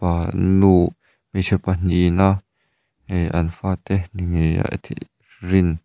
ahh nu hmeichhe pahnihin a ihh an fate ni ngei rin --